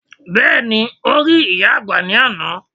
Bẹ́ẹ̀ni, o rí ìyá àgbà ní àná